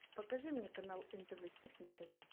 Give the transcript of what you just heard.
покажи мне канал нтв хит на тв